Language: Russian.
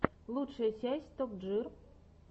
лучшая часть топ джир